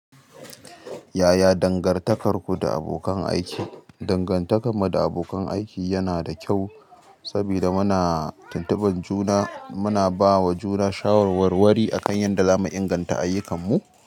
Yaya dangantakarku da abokan aiki? Dangantakar mu da abokan aiki yana da kyau, sabida muna tuntubar juna. Muna bawa juna shawarwarwari a kan yadda zamu inganta ayyukanmu.